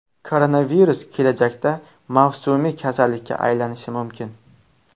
Koronavirus kelajakda mavsumiy kasallikka aylanishi mumkin.